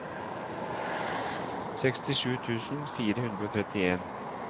sekstisju tusen fire hundre og trettien